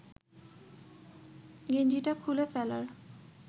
গেঞ্জিটা খুলে ফেলার